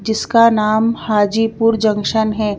जिसका नाम हाजीपुर जंक्शन है।